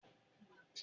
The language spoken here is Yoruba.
Bẹ́ẹ̀ni, òótọ́ làgbà